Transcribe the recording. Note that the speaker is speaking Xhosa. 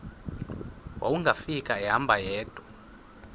wawungafika ehamba yedwa